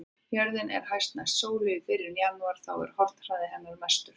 Jörðin er næst sólu í byrjun janúar og þá er hornhraði hennar mestur.